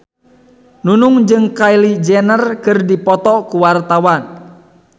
Nunung jeung Kylie Jenner keur dipoto ku wartawan